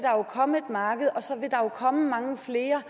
komme et marked og så vil der jo komme mange flere